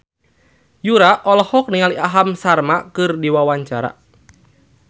Yura olohok ningali Aham Sharma keur diwawancara